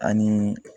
Ani